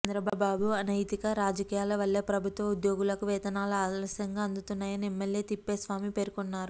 చంద్రబాబు అనైతిక రాజకీయాల వల్లే ప్రభుత్వ ఉద్యోగులకు వేతనాలు ఆలస్యంగా అందుతున్నాయని ఎమ్మెల్యే తిప్పేస్వామి పేర్కొన్నారు